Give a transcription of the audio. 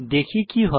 দেখি কি হয়